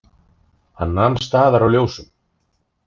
Hann nam staðar á ljósum.